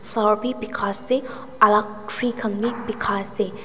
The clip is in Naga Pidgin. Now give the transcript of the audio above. flower bi pekai ase aro alak tree khan bi pekai ase.